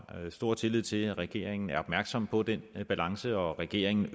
stor tillid til at regeringen er opmærksom på den balance og at regeringen